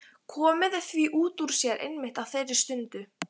Komið því út úr sér einmitt á þeirri stundu.